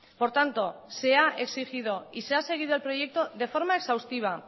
por tanto se ha exigido y se ha seguido el proyecto de forma exhaustiva